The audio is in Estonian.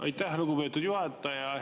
Aitäh, lugupeetud juhataja!